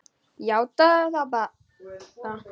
Játaðu það bara!